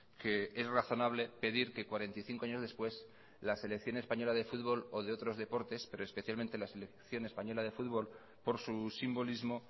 que es razonable pedir que cuarenta y cinco años después la selección española de fútbol o de otros deportes pero especialmente la selección española de fútbol por su simbolismo